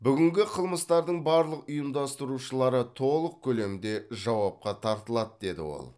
бүгінгі қылмыстардың барлық ұйымдастырушылары толық көлемде жауапқа тартылады деді ол